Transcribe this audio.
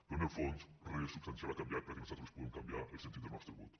però en el fons re substancial ha canviat perquè nosaltres puguem canviar el sentit del nostre vot